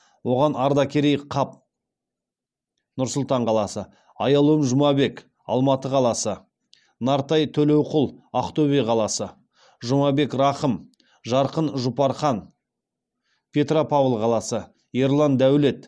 оған ардакерей қап нұр сұлтан қаласы аяулым жұмабек алматы қаласы нартай төлеуқұл ақтөбе қаласы жұмабек рахым жарқын жұпархан петропавл қаласы ерлан дәулет